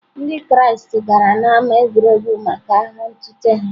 Ndị Kraịst gara n’ámá egwuregwu maka agha ntụte ha.